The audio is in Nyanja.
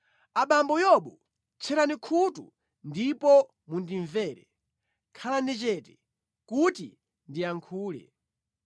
“Abambo Yobu, tcherani khutu ndipo mundimvere; khalani chete kuti ndiyankhule.